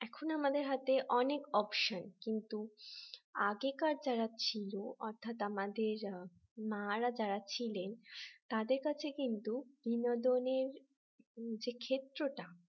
এখন আমাদের হাতে অনেক option কিন্তু আগেকার যারা ছিল অর্থাৎ আমাদের মা রা যারা ছিলেন তাদের কাছে কিন্তু বিনোদনের এ ক্ষেত্রটা